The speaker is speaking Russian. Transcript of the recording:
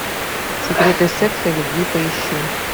секреты секса и любви поищи